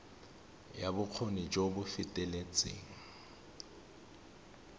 ya bokgoni jo bo feteletseng